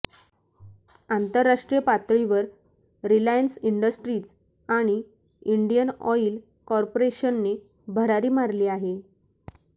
आंतरराष्ट्रीय पातळीवर Reliance Industries आणि इंडियन ऑईल कॉर्पोरेशनने भरारी मारली आहे